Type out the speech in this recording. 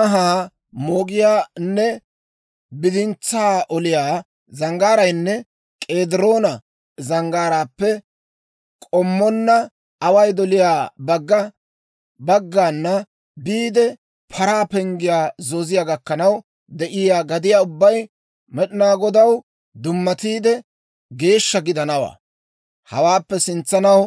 Anhaa moogiyaanne bidintsaa oliyaa zanggaaraynne K'ediroona Zanggaaraappe k'ommonna away doliyaa bagga baggana biide, Paraa Penggiyaa zooziyaa gakkanaw de'iyaa gadiyaa ubbay Med'inaa Godaw dummatiide, geeshsha gidanawaa. Hawaappe sintsanaw